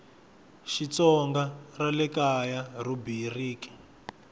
xitsonga ra le kaya rhubiriki